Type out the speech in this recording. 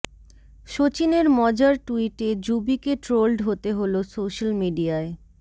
শচীনের মজার টুইটে যুবিকে ট্রোলড হতে হল সোশ্যাল মিডিয়ায়